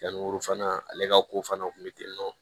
Yanni olu fana ale ka ko fana kun bɛ ten tɔ